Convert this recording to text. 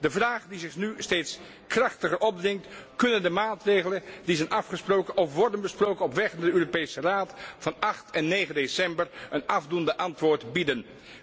De vraag die zich nu steeds krachtiger opdringt kunnen de maatregelen die zijn afgesproken of worden besproken op weg naar de Europese Raad van 8 en 9 december een afdoend antwoord bieden?